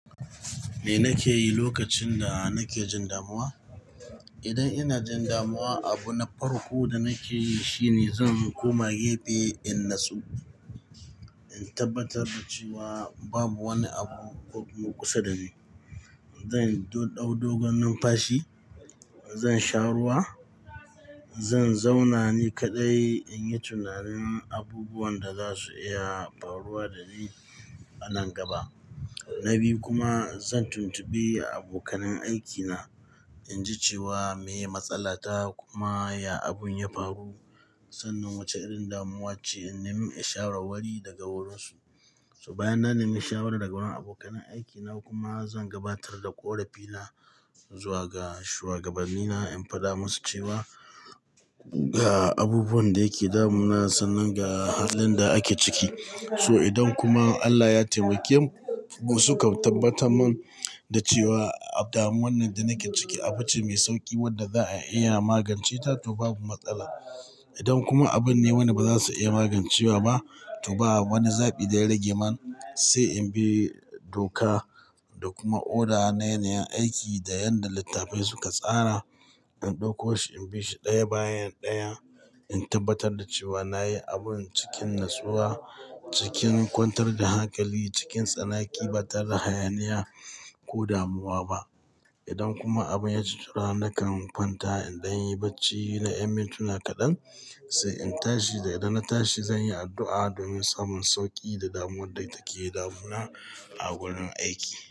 Me nake yi lokacin da nake jin damuwa? Idan ina jin damuwa, abu na farko da nake yi shine zan koma gefe in nasu. In tabbatar da cewa babu wani abu ko kusa dani. Zan dau dogon numfashi, zan sha ruwa, zan zauna ni kaɗai in yi tunanin abubuwan da za su iya faruwa da ni a nan gaba. Na biyu kuma zan tuntuɓe abokanan aikina in ji cewa me matsala ta kuma ya abun ya faru, sanan wace irin damuwa ce in nemi shawarwari daga wurinsu. To bayan na nemi shawara daga wurin abokanan aikina kuma zan gabatar da ƙorafina zuwa ga shugabannina in faɗa musu cewa ga abubuwan da ke damunana sanin ga halin da ake ciki. So idan kuma Allah ya taimake mu suka tabbatar man da cewa damuwar nan da nake ciki abu ce mai sauƙi wadda za'a iya magance ta to babu matsala. Idan kuma abin ne wanda ba za su iya magance wa ba to ba wani zaɓi da ya rage man sai in bi doka da kuma oda naye nayen aiki da yanda littafai suka tsara. In ɗauko shi in bishi ɗaya bayan ɗaya in tabbatar da cewa na yi abun cikin natsuwa, cikin kwantar da hankali, cikin tsanaki ba tare da hayaniya ko damuwa ba. Idan kuma abin ya ci tura nakan kwanta in dan yi bacci na yan mintuna kaɗan sai in tashi. Da idan na tashi zan yi addu'a domin samun sauƙi da damuwar da take damunana a wurin aiki.